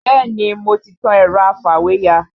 Bẹ́ẹ̀ni mo ti tan ẹ̀rọ afìwéya